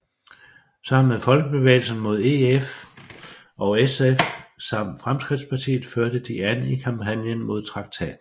Sammen med Folkebevægelsen mod EF og SF samt Fremskridtspartiet førte de an i kampagnen mod traktaten